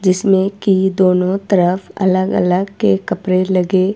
जिसमे की दोनों तरफ अलग अलग के कपड़े लगे--